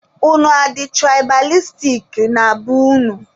Unu adị tụraịbalistik na be unu?